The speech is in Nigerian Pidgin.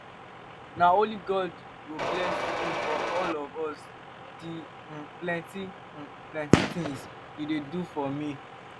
na only god go bless you for all di um plenty um plenty tins you dey do for me.